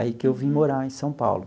Aí que eu vim morar em São Paulo.